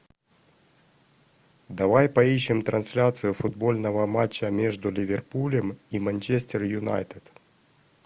давай поищем трансляцию футбольного матча между ливерпулем и манчестер юнайтед